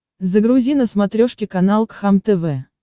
загрузи на смотрешке канал кхлм тв